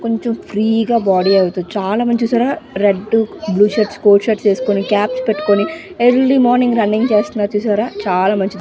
కొంచం ఫ్రీగా బాడీ అవుతుంది చాలా మంది చూశారా red blue shirts coat shirts వేసుకొని క్యాప్స్ పెట్టుకొని ఎర్లీ మార్నింగ్ రన్నింగ్ చేస్తున్నారు చూశారా చాలా మంచిది.